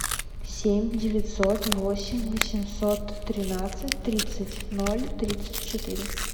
семь девятьсот восемь восемьсот тринадцать тридцать ноль тридцать четыре